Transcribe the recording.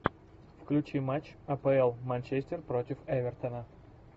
включи матч апл манчестер против эвертона